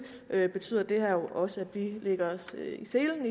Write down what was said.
betyder det her jo også at vi vil lægge os i selen